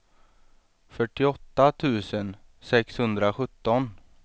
fyrtioåtta tusen sexhundrasjutton